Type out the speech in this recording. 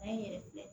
A ye n yɛrɛ filɛ